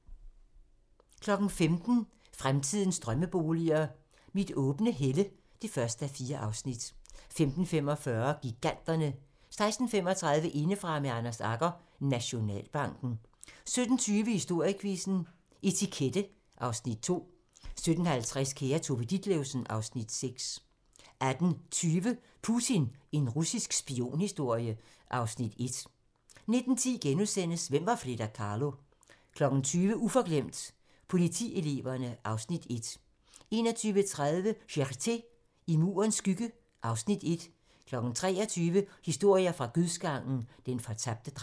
15:00: Fremtidens drømmeboliger: Mit åbne helle (1:4) 15:45: Giganterne 16:35: Indefra med Anders Agger - Nationalbanken 17:20: Historiequizzen: Etikette (Afs. 2) 17:50: Kære Tove Ditlevsen (Afs. 6) 18:20: Putin – en russisk spionhistorie (Afs. 1) 19:10: Hvem var Frida Kahlo? * 20:00: Uforglemt: Politieleverne (Afs. 1) 21:30: Charité - I Murens skygge (Afs. 1) 23:00: Historier fra dødsgangen - Den fortabte dreng